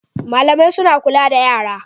Malamai suna kula da yara